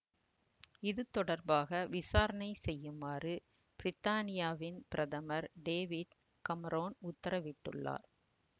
இது தொடர்பாக விசாரணை செய்யுமாறு பிரித்தானியாவின் பிரதமர் டேவிட் கமரோன் உத்தரவிட்டுள்ளார்